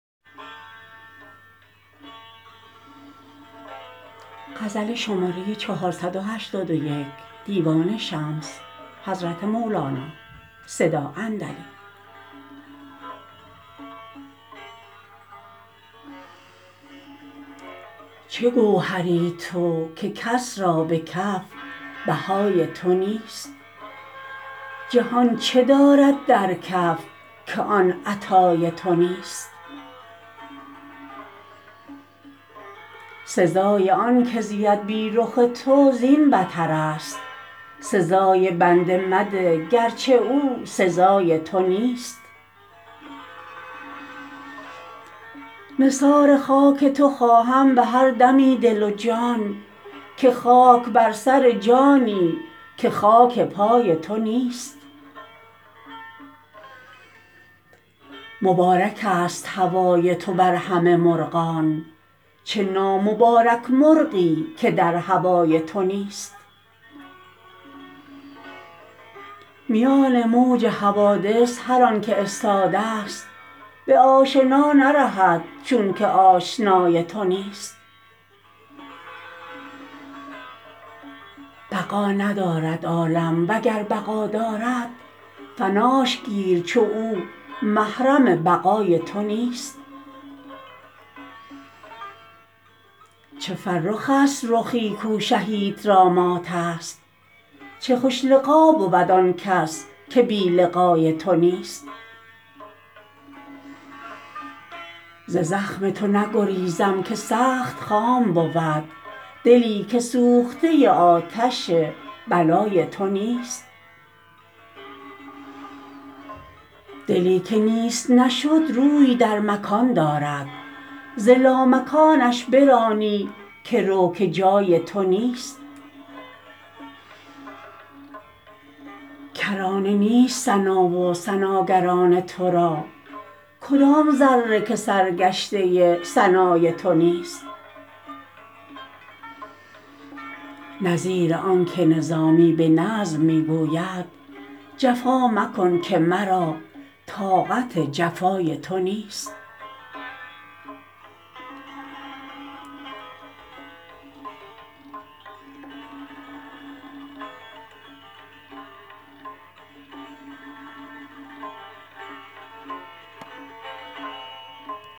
چه گوهری تو که کس را به کف بهای تو نیست جهان چه دارد در کف که آن عطای تو نیست سزای آنک زید بی رخ تو زین بترست سزای بنده مده گرچه او سزای تو نیست نثار خاک تو خواهم به هر دمی دل و جان که خاک بر سر جانی که خاک پای تو نیست مبارکست هوای تو بر همه مرغان چه نامبارک مرغی که در هوای تو نیست میان موج حوادث هر آنک استادست به آشنا نرهد چونک آشنای تو نیست بقا ندارد عالم وگر بقا دارد فناش گیر چو او محرم بقای تو نیست چه فرخست رخی کو شهیت را ماتست چه خوش لقا بود آن کس که بی لقای تو نیست ز زخم تو نگریزم که سخت خام بود دلی که سوخته آتش بلای تو نیست دلی که نیست نشد روی در مکان دارد ز لامکانش برانی که رو که جای تو نیست کرانه نیست ثنا و ثناگران تو را کدام ذره که سرگشته ثنای تو نیست نظیر آنک نظامی به نظم می گوید جفا مکن که مرا طاقت جفای تو نیست